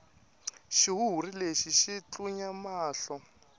xihuhuri lexi xi tlunya mahlo